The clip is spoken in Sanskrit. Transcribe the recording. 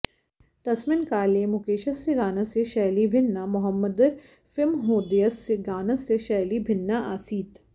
तस्मिन् काले मुकेशस्य गानस्य शैली भिन्ना मोहम्मदरफिमहोदयस्य गानस्य शैली भिन्ना आसीत्